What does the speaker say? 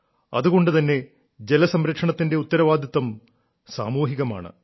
അതുകൊണ്ടു തന്നെ ജലസംരക്ഷണത്തിന്റെ ഉത്തരവാദിത്വവും സാമൂഹികമാണ്